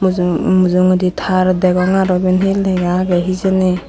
mujungedi tar degong aro iben he lega agey hijeni.